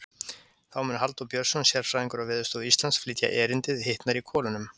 Þá mun Halldór Björnsson, sérfræðingur á Veðurstofu Íslands, flytja erindið Hitnar í kolunum.